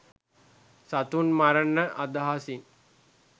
සතුන් මරණ අදහසින්